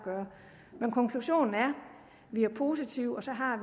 gøre men konklusionen er vi er positive og så har